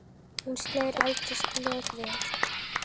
Hún slær aldrei slöku við.